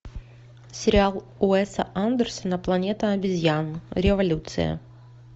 сериал уэса андерсона планета обезьян революция